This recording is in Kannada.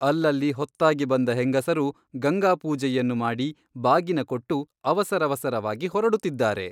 ಅಲ್ಲಲ್ಲಿ ಹೊತ್ತಾಗಿ ಬಂದ ಹೆಂಗಸರು ಗಂಗಾಪೂಜೆಯನ್ನು ಮಾಡಿ ಬಾಗಿನ ಕೊಟ್ಟು ಅವಸರವಸರವಾಗಿ ಹೊರಡುತ್ತಿದ್ದಾರೆ.